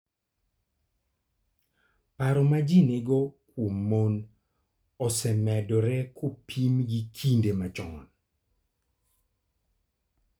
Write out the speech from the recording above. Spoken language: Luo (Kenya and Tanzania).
Paro ma ji nigo kuom mon osemedore kopim gi kinde machon.